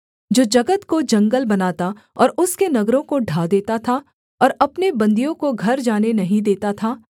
जो जगत को जंगल बनाता और उसके नगरों को ढा देता था और अपने बन्दियों को घर जाने नहीं देता था